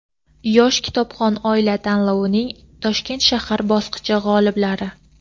"Yosh kitobxon oila" tanlovining Toshkent shahar bosqichi g‘oliblari:.